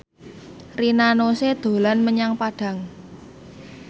Rina Nose dolan menyang Padang